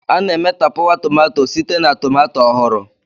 A na-eme tapawa tomato site na tomato ọhụrụ.